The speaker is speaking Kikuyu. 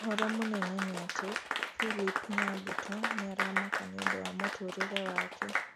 ũhoro mũnene nĩ ati philip nyabuto nĩ aramaka nĩũndũ wa mũtũrĩre wake